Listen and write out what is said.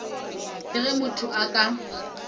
le ge motho a ka